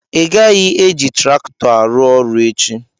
Ịgaghị eji traktọ arụ ọrụ echi!